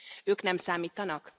Ők nem számítanak?